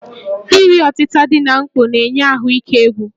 Iri ọtịta dị na mkpọ na-eyi ahụike egwu